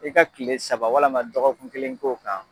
I ka tile saba walama dɔgɔkun kelen ko'o kan.